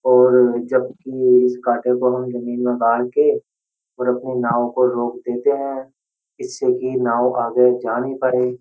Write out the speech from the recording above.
और जब कि इस काटे को हम जमीन में गाड़ के और अपने नाव को रोक देते हैं इससे कि नाव जा नहीं पाए।